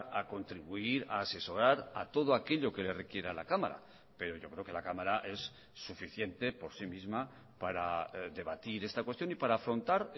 a contribuir a asesorar a todo aquello que le requiera la cámara pero yo creo que la cámara es suficiente por sí misma para debatir esta cuestión y para afrontar